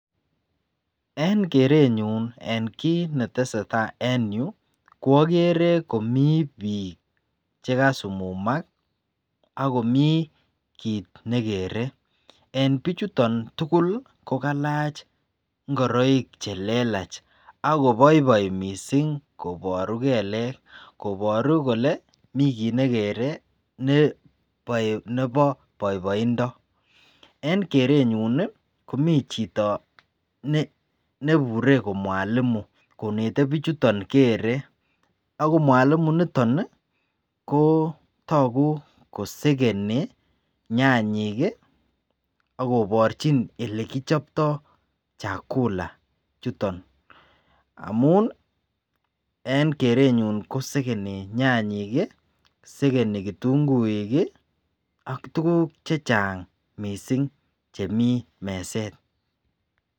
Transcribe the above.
En kerenyun en kit netesetai en Yu koigere bik chekasumumak ako mi kit nekere en bik chuton Tukul kokalach ngoroik chekalach ako boiboi mising koboru kelek akoboru Kole mi kit nekere Nebo boiboindo en kerenyun Komi chito nebure ko Mwalimu konete bichuton kere ako Mwalimu niton ko togu kosegeni nyanyik akoborchin ele kichoptoi chakulet chuton amun en kerenyun ko segeni nyanyik, kitunguik AK tuguk chechang mising Chemiten meset.